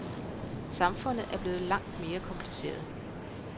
Samfundet er blevet langt mere kompliceret.